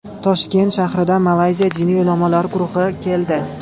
Toshkent shahriga Malayziya diniy ulamolari guruhi keldi.